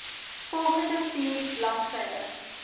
volgende vier bladsye